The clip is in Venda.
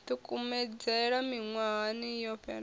ḓi kumedzela miṅwahani yo fhelaho